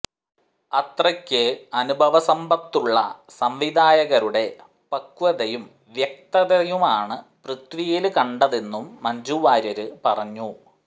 അത്രയ്ക്ക് അനുഭവസമ്ബത്തുളള സംവിധായകരുടെ പക്വതയും വ്യക്തതയുമാണ് പൃഥ്വിയില് കണ്ടതെന്നും മഞ്ജു വാര്യര് പറഞ്ഞു